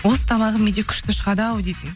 осы тамағым менде күшті шығады ау дейтін